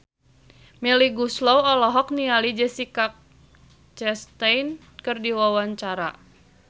Melly Goeslaw olohok ningali Jessica Chastain keur diwawancara